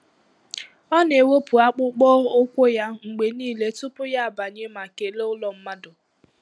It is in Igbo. Ọ na-ewepụ akpụkpọ ụkwụ ya mgbe niile tupu ya abanye ma kelee ụlọ mmadụ.